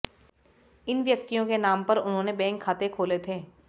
इन व्यक्तियों के नाम पर उन्होने बैंक खाते खोले थे